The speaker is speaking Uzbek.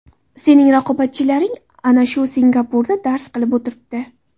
Sening raqobatchilaring ana shu Singapurda dars qilib o‘tiribdi.